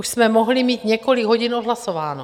Už jsme mohli mít několik hodin odhlasováno.